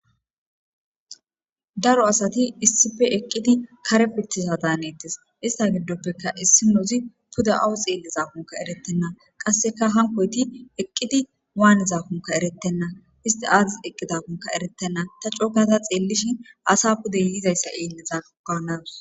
Daro asati issife eqqidi kare pittiza daanettes ista giddoppeka issi nozi puda awu xeelli zakunka eretenna qasseka hankoyti eqqidi waani zakunka erettenna isti aadis eqqidakunka erettenna ta cookata xeellishin asa pude yizayssa eelleza ganawus.